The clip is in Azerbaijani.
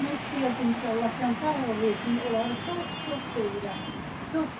Demək istəyirdim ki, Allah can sağlığı versin, onları çox-çox sevirəm, çox istəyirəm.